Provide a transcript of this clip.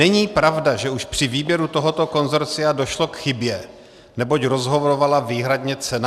Není pravda, že už při výběru tohoto konsorcia došlo k chybě, neboť rozhodovala výhradně cena.